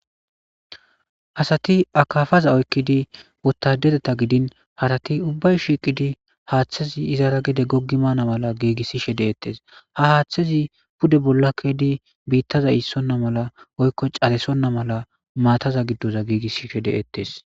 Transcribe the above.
Asati akafaza oykidi wotadereta giddin harati ubbay shiqidi haththazi izara gede gogi bana mala gigishishe de7esttes. ha haththazi pudde bola ke7idi bitaza isona mala woyko cadisona mala mataza giddo gigishishe de7ettes.